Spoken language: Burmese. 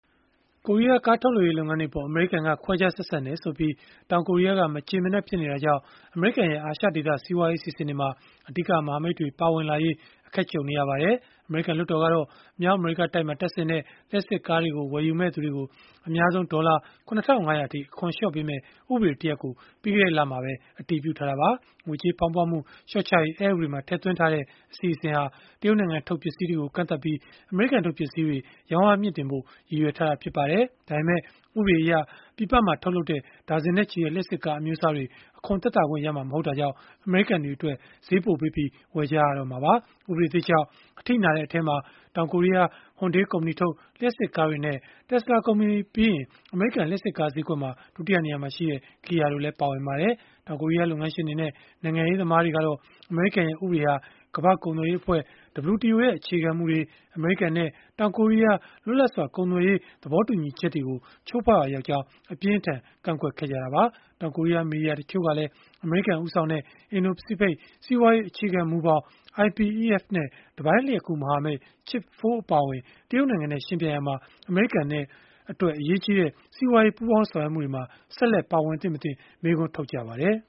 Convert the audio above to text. ကိုရီးယား ကားထုတ်လုပ်ရေး လုပ်ငန်းတွေအပေါ် အမေရိကန်က ခွဲခြားဆက်ဆံတယ်ဆိုပြီး တောင်ကိုရီးယားက မကျေမနပ် ဖြစ်နေတာကြောင့် အမေရိကန်ရဲ့ အာရှဒေသ စီးပွားရေးအစီအစဉ်တွေမှာ အဓိကမဟာမိတ်တွေ ပါဝင်လာရေး အခက်ကြုံနေရပါတယ်။ အမေရိကန် လွှတ်တော်ကတော့ မြောက်အမေရိကတိုက်မှာ တပ်ဆင်တဲ့ လျှပ်စစ်ကားတွေကို ဝယ်ယူမယ့်သူတွေကို အများဆုံး ဒေါ်လာ ၇,၅၀၀ အထိ အခွန်လျှော့ပေးမယ့် ဥပဒေတရပ်ကို ပြီးခဲ့တဲ့လမှာပဲ အတည်ပြုထားတာပါ။ ငွေကြေးဖောင်းပွမှု လျှော့ချရေး အက်ဥပဒေမှာ ထည့်သွင်းထားတဲ့ အစီအစဉ်ဟာ တရုတ်နိုင်ငံထုတ် ပစ္စည်းတွေကို ကန့်သတ်ပြီး အမေရိကန်ထုတ် ပစ္စည်းတွေ ရောင်းအားမြှင့်တင်ဖို့ ရည်ရွယ်ထားတာ ဖြစ်ပါတယ်။ ဒါပေမဲ့ ဥပဒေအရ ပြည်ပမှာ ထုတ်လုပ်တဲ့ ဒါဇင်နဲ့ချီတဲ့ လျှပ်စစ်ကား အမျိုးအစားတွေ အခွန်သက်သာခွင့်ရမှာ မဟုတ်တာကြောင့် အမေရိကန်တွေအတွက် ဈေးပိုပေးပြီး ဝယ်ကြရမှာပါ။ ဥပဒေသစ်ကြောင့် အထိနာတဲ့ အထဲမှာ တောင်ကိုရီးယား Hyundai ကုမ္ပဏီထုတ် လျှပ်စစ်ကားတွေနဲ့ Tesla ကုမ္ပဏီပြီးရင် အမေရိကန် လျှပ်စစ်ကား ဈေးကွက်မှာ ဒုတိယနေရာမှာရှိတဲ့ Kia တို့ ပါဝင်ပါတယ်။ တောင်ကိုရီးယား လုပ်ငန်းရှင်တွေနဲ့ နိုင်ငံရေးသမားတွေကတော့ အမေရိကန်ရဲ့ ဥပဒေဟာ ကမ္ဘာ့ကုန်သွယ်ရေးအဖွဲ့ (WTO) ရဲ့ အခြေခံမူတွေ၊ အမေရိကန်နဲ့ တောင်ကိုရီးယား လွတ်လပ်စွာ ကုန်သွယ်ရေး သဘောတူညီချက်တွေကို ချိုးဖောက်ရာရောက်ကြောင်း အပြင်းအထန် ကန့်ကွက်ခဲ့ကြတာပါ။ တောင်ကိုရီးယား မီဒီယာ တချို့ကလည်း အမေရိကန်ဦးဆောင်တဲ့ အင်ဒို၊ ပစိဖိတ် စီးပွားရေး အခြေခံမူဘောင် (IPEF) နဲ့ တပိုင်းလျှပ်ကူး မဟာမိတ် Chip 4 အပါအဝင် တရုတ်နိုင်ငံနဲ့ ယှဉ်ပြိုင်ရာမှာ အမေရိကန်အတွက် အရေးကြီးတဲ့ စီးပွားရေး ပူးပေါင်းဆောင်ရွက်မှုတွေမှာ ဆက်လက်ပါဝင်သင့်မသင့် မေးခွန်းထုတ်ကြပါတယ်။